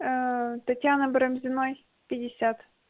татьяны барамзиной пятьдесят